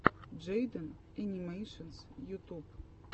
джейден энимэйшенс ютуб